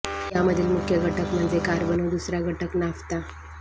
यामधील मुख्य घटक म्हणजे कार्बन व दुसरा घटक नाफ्ता